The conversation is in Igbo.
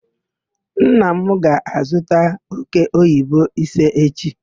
Nna m ga-azuta òkéoyibo ise echi.